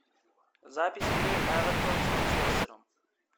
запись игры эвертон с манчестером